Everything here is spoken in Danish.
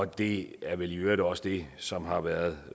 det er vel i øvrigt også det som har været